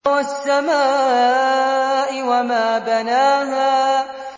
وَالسَّمَاءِ وَمَا بَنَاهَا